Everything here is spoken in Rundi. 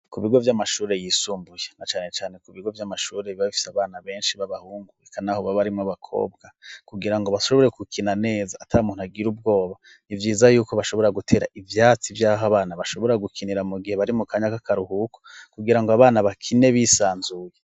Ku bigo vy'amashuri yisumbuye na cane cane ku bigo by'amashuri biba bifise abana benshi b'abahungu bikan aho baba arimo bakobwa kugira ngo bashobore gukina neza atamuntu agira ubwoba ntibyiza yuko bashobora gutera ivyatsi byaho abana bashobora gukinira mu gihe bari mu kanya kakaruhuko kugira ngo abana bakine bisanzuye.